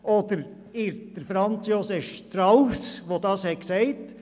Oder irrt sich etwa Franz Josef Strauss, von dem das Zitat stammt?